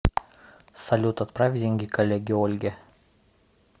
салют отправь деньги коллеге ольге